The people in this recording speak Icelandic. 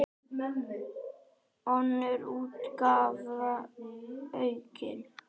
Önnur útgáfa aukin.